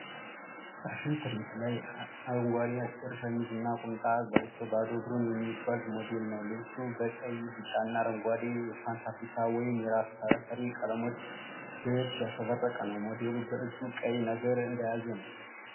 ፋሽን ትርኢት ላይ አረንጓዴ አጭር ሸሚዝና ቁምጣ ለብሶ ባዶ እግሩን የሚጓዝ ሞዴል ነው። ልብሱ በቀይ፣ ቢጫ እና አረንጓዴ (የፓን አፍሪካ ወይም የራስ ተፈሪ ቀለሞች) ዘዬዎች ያሸበረቀ ነው። ሞዴሉ በእጁ ቀይ ነገር እንደያዘ ነው።